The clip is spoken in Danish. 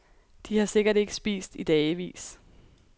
De har sikkert ikke spist i dagevis.